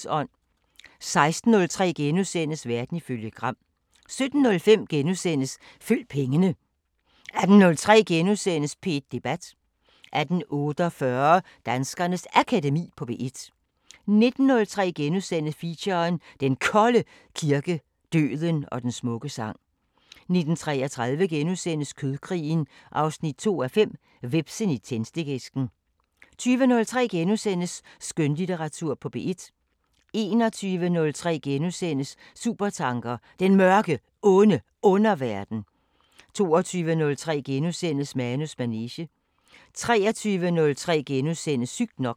16:03: Verden ifølge Gram * 17:05: Følg pengene * 18:03: P1 Debat * 18:48: Danskernes Akademi på P1 19:03: Feature: Den Kolde kirke, døden og den smukke sang * 19:33: Kødkrigen 2:5 – Hvepsen i tændstikæsken * 20:03: Skønlitteratur på P1 * 21:03: Supertanker: Den Mørke, Onde Underverden * 22:03: Manus manege * 23:03: Sygt nok *